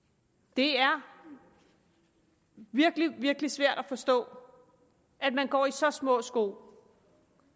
det er virkelig virkelig svært at forstå at man går i så små sko